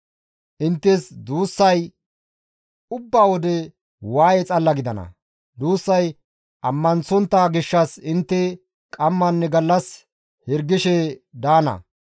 Inttes duussay ubba wode waaye xalla gidana; duussay ammanththontta gishshas intte qammanne gallas hirgishe daana.